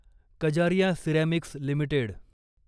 Kajaria Ceramics limited